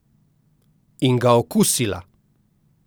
In ga okusila.